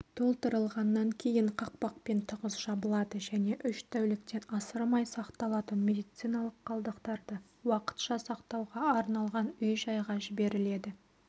толтырылғаннан кейін қақпақпен тығыз жабылады және үш тәуліктен асырмай сақталатын медициналық қалдықтарды уақытша сақтауға арналған үй-жайға жіберіледі